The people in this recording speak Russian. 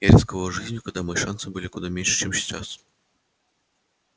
я рисковал жизнью когда мои шансы были куда меньше чем сейчас